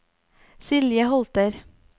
Silje Holter